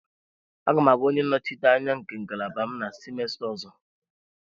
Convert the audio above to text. Aga m abụ onye nnọchiteanya nke ngalaba m na semester ọzọ.